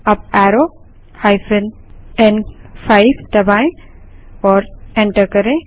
up arrow n5 दबायें और enter करें